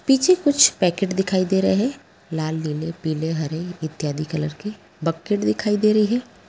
पीछे कुछ पैकेट दिखाई दे रहे हैं लाल नील पीले हरे इत्यादि कलर के | बकेट दिखाई दे रही है।